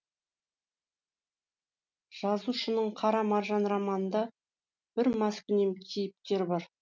жазушының қара маржан романында бір маскүнем кейіпкер бар